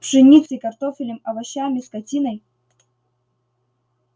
пшеницей картофелем овощами скотиной